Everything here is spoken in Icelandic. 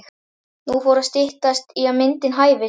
Nú fór að styttast í að myndin hæfist.